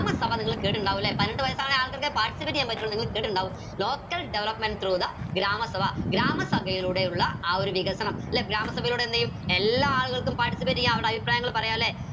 ഗ്രാമസഭ നിങ്ങൾ കേട്ടിട്ടുണ്ടാവു അല്ലെ പണ്ട് നിങ്ങൾ കേട്ടിട്ടുണ്ടാവു local development through the grama Sabha ഗ്രാമസഭയിലൂടെ ഉള്ള ആ ഒരു വികസനം ല്ലെ ഗ്രാമസഭയിലൂടെ എന്തേയും എല്ലാ ആളുകൾക്കും participate എയാം അവർടെ അഭിപ്രായങ്ങൾ പറയാ ല്ലെ